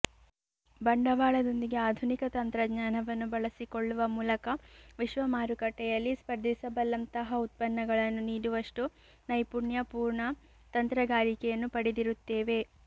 ಬಂಡವಾಳದೊಂದಿಗೆ ಆಧುನಿಕ ತಂತ್ರಜ್ಞಾನವನ್ನು ಬಳಸಿಕೊಳ್ಳುವ ಮೂಲಕ ವಿಶ್ವಮಾರುಕಟ್ಟೆಯಲ್ಲಿ ಸ್ಪರ್ಧಿಸಬಲ್ಲಂತಹ ಉತ್ಪನ್ನಗಳನ್ನು ನೀಡುವಷ್ಟು ನೈಪುಣ್ಯ ಪೂರ್ಣ ತಂತ್ರಗಾರಿಕೆಯನ್ನು ಪಡೆದಿರುತ್ತೇವೆ